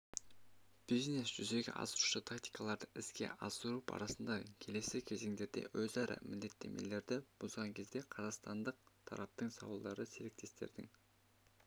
бизнес-жүзеге асырушы тактикаларды іске асыру барысында келесі кезеңдерде өзара міндеттемелерді бұзған кезде қазақстандық тараптың сауалдары серіктестердің